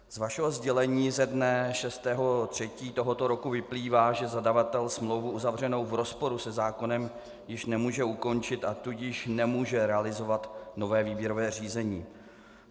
Z vašeho sdělení ze dne 6. 3. tohoto roku vyplývá, že zadavatel smlouvu uzavřenou v rozporu se zákonem již nemůže ukončit, a tudíž nemůže realizovat nové výběrové řízení.